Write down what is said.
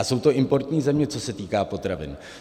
A jsou to importní země, co se týká potravin.